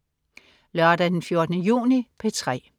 Lørdag den 14. juni - P3: